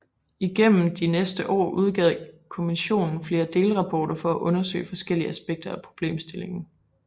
Igennem de næste år udgav kommisionen flere delrapporter for at undersøge forskellige aspekter af problemstillingen